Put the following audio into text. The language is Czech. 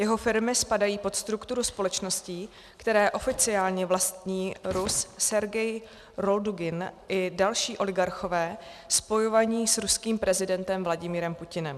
Jeho firmy spadají pod strukturu společností, které oficiálně vlastní Rus Sergej Roldugin i další oligarchové spojovaní s ruským prezidentem Vladimirem Putinem.